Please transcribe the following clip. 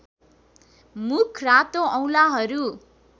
मुख रातो औंलाहरू